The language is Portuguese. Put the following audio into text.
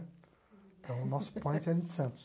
Então, o nosso point era em Santos.